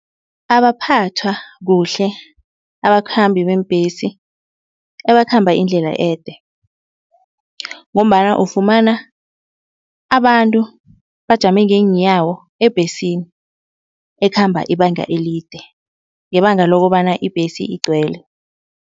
Abaphathwa kuhle abakhambi beembhesi abakhamba indlela ede. Ngombana ufumana abantu bajame ngeenyawo ebhesini ekhamba ibanga elide ngebanga lokobana ibhesi igcwele.